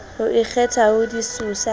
ho ikgetha ho disosa le